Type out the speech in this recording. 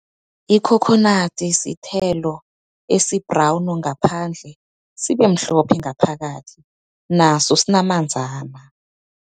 Ikhokhonadi sithelo esi-brown ngaphandle, sibe mhlophe ngaphakathi. Naso sinamanzana.